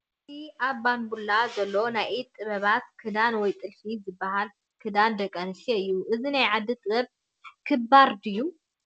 እዚ ኣብ ባንቡላ ዘሎ ናይ ኢድ ጥበብ ክዳን ወይ ጥልፊ ዝበሃል ክዳን ደቂ ኣንስትዮ እዩ። እዚ ናይ ዓዲ ጥበብ ክባር ድዩ ?